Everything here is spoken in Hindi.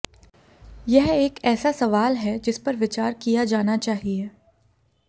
यह एक ऐसा सवाल है जिस पर विचार किया जाना चाहिए